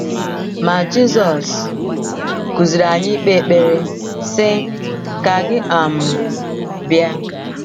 Ma Jizọs kụziiri anyị ikpe ekpere, sị: “ Ka gị um bịa.